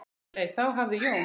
Nei, þá hafði Jón